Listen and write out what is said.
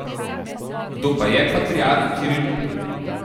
Kdo pa je patriarh Kiril?